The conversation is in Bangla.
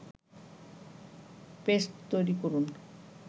পেস্ট তৈরি করুন